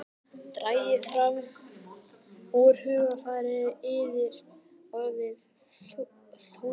Dragið fram úr hugarfylgsnum yðar orðin Þórunnar.